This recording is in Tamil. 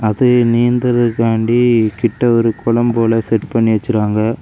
அது நிந்துறதுக்காண்டி கிட்ட ஒரு குளம் போல ஒன்னு செட் பண்ணி வச்சிருக்காங்க.